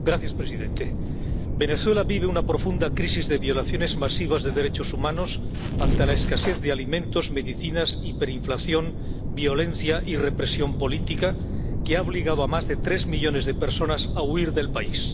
Señor presidente, Venezuela vive una profunda crisis de violaciones masivas de los derechos humanos ante la escasez de alimentos y medicinas, la hiperinflación, la violencia y la represión política, que ha obligado a más de tres millones de personas a huir del país.